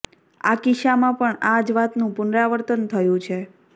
આ કિસ્સમાં પણ આ જ વાતનું પુનરાવર્તન થયું છે